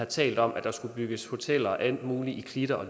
talt om at der skulle bygges hoteller og alt muligt i klitter